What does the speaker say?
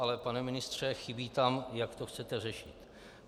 Ale pane ministře, chybí tam, jak to chcete řešit.